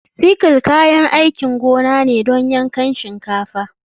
Sickle kayan aikin gona ne don yankan shinkafa.